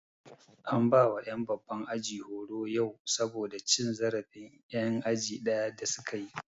An bawa ƴan babban aji horo yau saboda cin zarafin ƴan aji ɗaya da su kayi